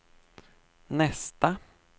nästa